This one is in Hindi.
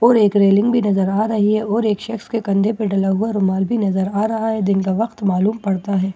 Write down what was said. और एक रेलिंग भी नजर आ रही है और एक शख्स के कंधे पे डला हुआ रुमाल भी नजर आ रहा है दिन का वक़्त मालूम पड़ता है।